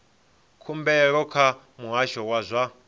khumbelo kha muhasho wa zwa